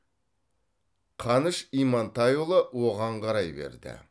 қаныш имантайұлы оған қарай берді